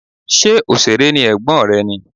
Ṣé òṣèré ni ẹ̀gbọ́n rẹ ni?